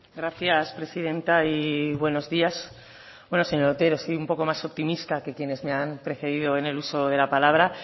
gracias presidente y buenos días bueno señor otero soy un poco más optimista que quienes me han precedido en el uso de la palabra